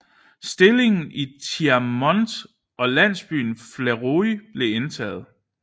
Stillingen i Thiaumont og landsbyen Fleury blev indtaget